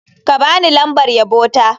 Ka ba ni lambar yabo ta.